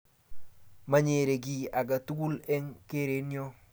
manyere kiy age tugul eng keerenyo